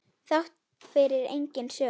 Þrátt fyrir eigin sök.